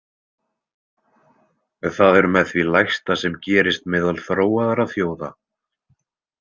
Það er með því lægsta sem gerist meðal þróaðra þjóða.